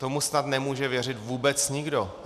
Tomu snad nemůže věřit vůbec nikdo.